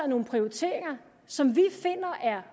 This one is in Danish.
nogle prioriteringer som vi finder er